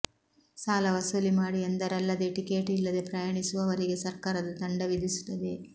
ಸಾಲ ವಸೂಲಿ ಮಾಡಿ ಎಂದರಲ್ಲದೇ ಟಿಕೇಟ್ ಇಲ್ಲದೆ ಪ್ರಯಾಣಿಸುವವರಿಗೆ ಸರ್ಕಾರ ದಂಡ ವಿಧಿಸುತ್ತದೆ